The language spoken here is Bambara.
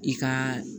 I ka